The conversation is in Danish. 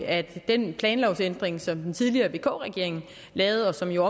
at den planlovændring som den tidligere vk regering lavede og som jo